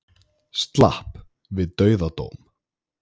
Slapp við dauðadóm